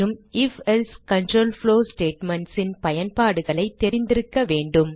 ifஎல்சே control flow statements ன் பயன்பாடுகளைத் தெரிந்திருக்க வேண்டும்